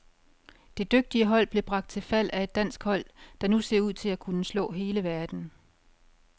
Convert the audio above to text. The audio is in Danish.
Det dygtige hold blev bragt til fald af et dansk hold, der nu ser ud til at kunne slå hele verden.